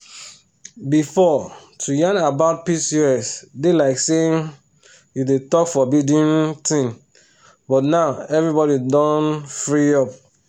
before to yarn about pcos dey like say um you dey talk forbidden um thing but now everybody don um free up.